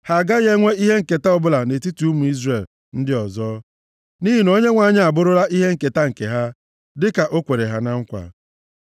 Ha agaghị enwe ihe nketa ọbụla nʼetiti ụmụ Izrel ndị ọzọ, nʼihi na Onyenwe anyị abụrụla ihe nketa nke ha dịka o kwere ha na nkwa.